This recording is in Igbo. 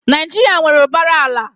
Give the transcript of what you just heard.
Naijiria nwere ụbara ala.